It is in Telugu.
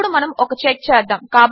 ఇప్పుడు మనము ఒక చెక్ చేద్దాము